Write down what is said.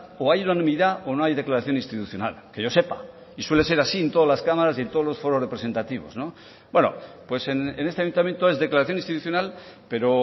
o hay unanimidad o no hay declaración institucional que yo sepa y suele ser así en todas las cámaras y en todos los foros representativos bueno pues en este ayuntamiento es declaración institucional pero